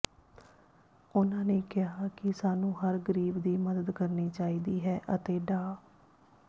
ਉਹਨਾਂ ਨੇ ਕਿਹਾ ਕੀ ਸਾਨੂੰ ਹਰ ਗ਼ਰੀਬ ਦੀ ਮਦਦ ਕਰਨੀ ਚਾਹੀਦੀ ਹੈ ਅਤੇ ਡਾ